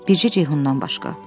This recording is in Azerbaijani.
Bircə Ceyhundan başqa.